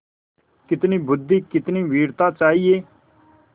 कितनी बुद्वि कितनी वीरता चाहिए